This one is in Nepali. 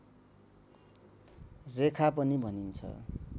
रेखा पनि भनिन्छ